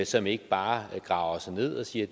som ikke bare graver sig ned og siger at